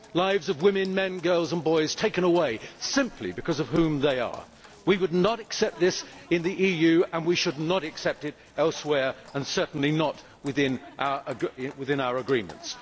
The lives of women, men, girls and boys are being taken away simply because of who they are. We would not accept this in the EU, and we should not accept it elsewhere certainly not within our agreements.